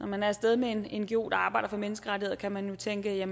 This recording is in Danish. man er af sted med en ngo der arbejder for menneskerettigheder kan man jo tænke at